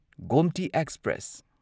Gomti express